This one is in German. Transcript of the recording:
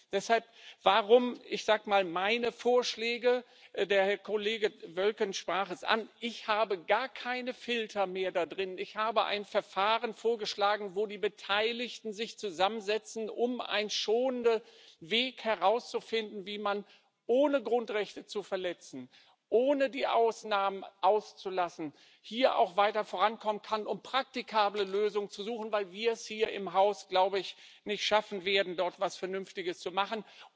Deshalb enthalten meine Vorschläge der Kollege Wölken sprach es an gar keine Filter mehr. Ich habe ein Verfahren vorgeschlagen, in dem die Beteiligten sich zusammensetzen, um einen schonenden Weg zu finden, wie man, ohne Grundrechte zu verletzen, ohne die Ausnahmen auszulassen, hier auch weiter vorankommen kann, um praktikable Lösungen zu suchen, weil wir es hier im Haus, glaube ich, nicht schaffen werden, dort etwas Vernünftiges zu machen.